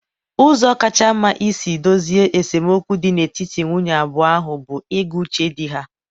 Ụzọ kacha mma isi dozie esemokwu dị n'etiti nwunye abụọ ahụ bụ ịgụ uche di ha?